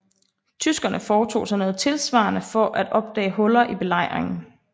Tyskerne foretog sig noget tilsvarende for at opdage huller i belejringen